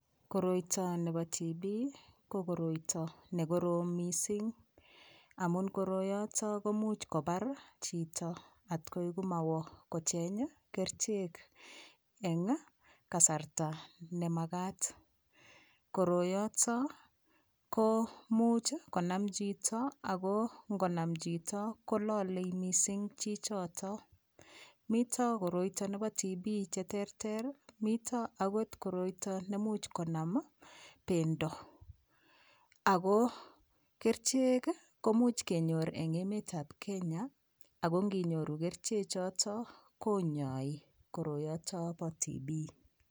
Koroito nebo TB ko koroito nekorom mising amun koroyoto komuch kobar chito atkoikomawo kocheny kerchek eng kasarta nemakat koroyoto ko much konam chito ako ngonam chito kololei mising chichoto mito koroito nebo TB cheterter mito akot koroito nemuch konam bendo ako kerichek komuch kenyor eng emet ab Kenya ako nginyoru kerchechoto konyoi koroyoto bo TB